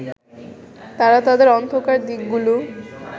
তারা তাদের অন্ধকার দিকগুলো